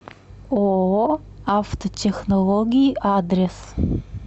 ооо автотехнологии адрес